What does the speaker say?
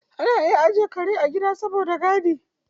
Ana iya ajiye kare a gida saboda gadi.